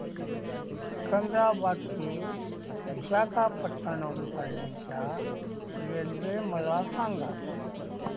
सिकंदराबाद ते विशाखापट्टणम पर्यंत च्या रेल्वे मला सांगा